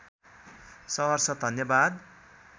सहर्ष धन्यवाद